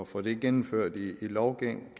få det gennemført i lovgivningen